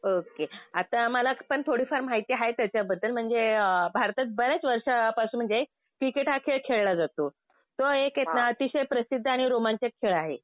Okay. आता मलापण थोडीफार माहिती आहे त्याच्याबद्दल. म्हणजे अ भारतात बऱ्याच वर्षापासून म्हणजे क्रिकेट हा खेळ खेळला जातो. तो एक इथला अतिशय प्रसिद्ध आणि रोमांचक खेळ आहे.